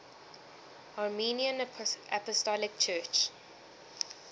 armenian apostolic church